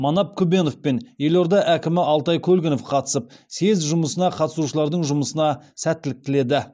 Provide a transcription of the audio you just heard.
манап күбенов пен елорда әкімі алтай көлгінов қатысып съезд жұмысына қатысушылардың жұмысына сәттілік тіледі